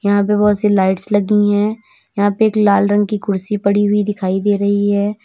यहाँ पे बोहोत सी लाइट्स लगी हैं यहां पे एक लाल रंग की कुर्सी पड़ी हुई दिखाई दे रही है।